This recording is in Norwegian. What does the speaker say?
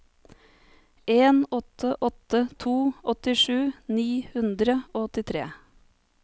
en åtte åtte to åttisju ni hundre og åttitre